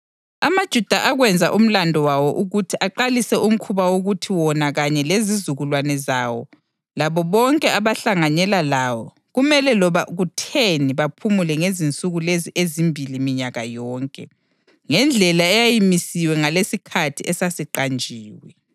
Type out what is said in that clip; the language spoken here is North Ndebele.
amaJuda akwenza umlandu wawo ukuthi aqalise umkhuba wokuthi wona kanye lezizukulwane zawo labo bonke abahlanganyela lawo kumele loba kutheni baphumule ngezinsuku lezi ezimbili minyaka yonke, ngendlela eyayimisiwe langesikhathi esasiqanjiwe.